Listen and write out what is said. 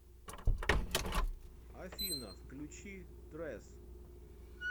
афина включи трэс